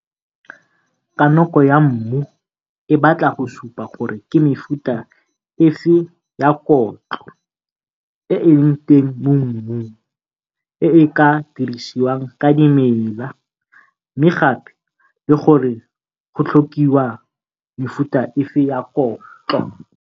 Kanoko ya mmu e batla go supa gore ke mefuta efe ya kotlo e e leng teng mo mmung e e ka dirisiwang ke dimela mme gape le gore go tlhokiwa mefuta efe ya kotlo.